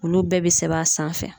Olu bɛɛ be sɛbɛn a sanfɛ